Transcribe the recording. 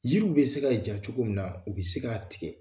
Yiriw bɛ se ka ja cogo min na, u bɛ se k'a tigɛ.